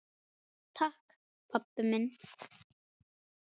Takk pabbi minn.